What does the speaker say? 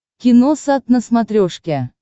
киносат на смотрешке